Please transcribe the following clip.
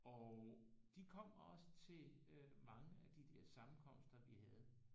Og de kom også til øh mange af de dér sammenkomster vi havde